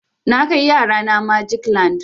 Na kai yara na magic land.